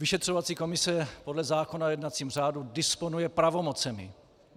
Vyšetřovací komise podle zákona o jednacím řádu disponuje pravomocemi.